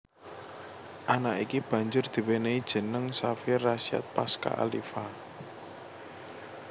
Anak iki banjur diwénéhi jeneng Xavier Rasyad Pasca Aliva